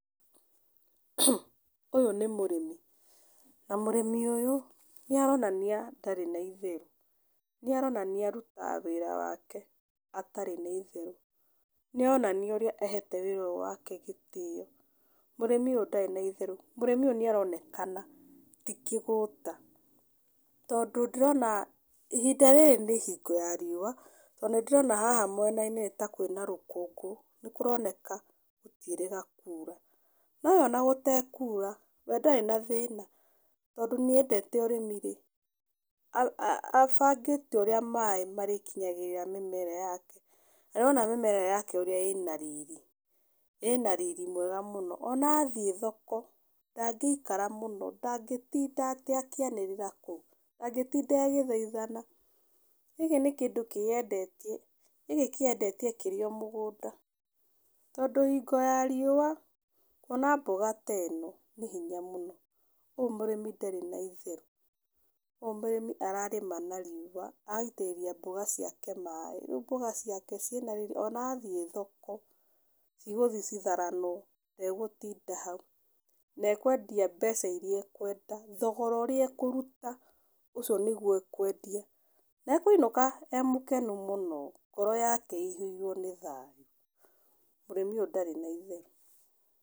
Ũyũ nĩ mũrĩmi, na mũrĩmi ũyũ nĩaronania ndarĩ na itherũ, nĩaronania arutaga wĩra wake atarĩ na itherũ, nĩaronania ũrĩa ahete wĩra ũyũ wake gĩtĩo, mũrĩmi ũyũ ndarĩ na itherũ. Mũrĩmi ũyũ nĩaronekana ti kĩgũta tondũ ndĩrona ihinda rĩrĩ nĩ hingo ya riũa, tondũ nĩndĩrona haha mwena-inĩ nĩ ta kwĩna rũkũngũ, nĩkũroneka gũtiĩrĩga kura, no we ona gũtekura, we ndarĩ na thĩna, tondũ nĩendete ũrĩmi-rĩ abangĩte ũrĩa maĩ marĩkinyagĩrĩra mĩmera yake. Na nĩwona mĩmera yake ũrĩa ĩna riri, ĩna riri mwega mũno, ona athiĩ thoko ndĩngĩikara mũno, ndangĩtinda atĩ akĩanĩrĩra kũu, ndangĩtinda agĩthaithana, gĩkĩ nĩ kĩndũ kĩyendetie, gĩkĩ kĩyendetie kĩrĩ o mũgũnda, tondũ hingo ya riũa kuona mboga ta ĩno nĩ hinya mũno. Ũyũ mũrĩmi ndarĩ na itherũ, ũyũ mũrĩmi ararĩma na riũa agaitĩrĩria mboga ciake maĩ, rĩu mboga ciake ciĩna riri ona athiĩ thoko cigũthiĩ citharanwo, ndegũtinda hau, na ekwendia mbeca iria ekwenda, thogora ũrĩa ekũruta ũcio nĩguo ekwendia, na ekũinũka e mũkenu mũno, ngoro yake ĩihũirwo nĩ thayũ, mũrĩmi ũyũ ndarĩ na itherũ.